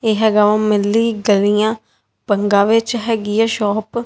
ਇਹ ਹੈਗਾ ਵਾ ਮੇਰੇ ਲਈ ਗਲੀਆਂ ਬੰਗਾਂ ਵਿੱਚ ਹੈਗੀ ਆ ਸ਼ੌਪ ।